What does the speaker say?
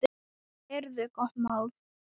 Heyrðu gott mál.